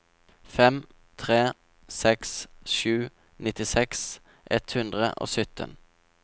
fem tre seks sju nittiseks ett hundre og sytten